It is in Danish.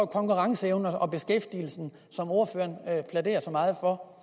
konkurrenceevnen og beskæftigelsen som ordføreren plæderer så meget for